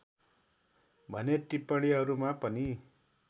भने टिप्पणीहरूमा पनि